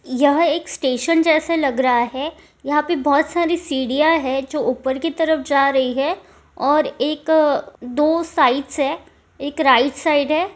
यह एक स्टेशन जैसा लग रहा है यहां पर बहुत सारी सीढ़ियां हैं जो ऊपर की तरफ जा रही है और एक दो साइड्स है एक राइट साइड है।